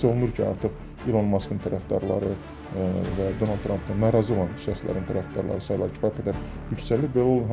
Hiss olunur ki, artıq İlon Maskın tərəfdarları və Donald Trampla narazı olan şəxslərin tərəfdarları sayları kifayət qədər yüksəlib.